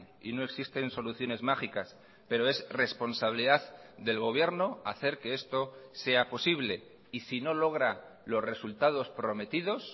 y no existen soluciones mágicas pero es responsabilidad del gobierno hacer que esto sea posible y sino logra los resultados prometidos